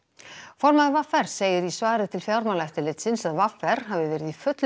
formaður v r segir í svari til Fjármálaeftirlitsins að v r hafi verið í fullum